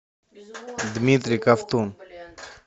дмитрий ковтун